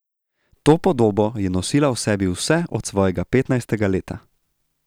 To podobo je nosila v sebi vse od svojega petnajstega leta.